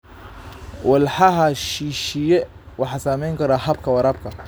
Walxaha shisheeye waxay saameyn karaan habka waraabka.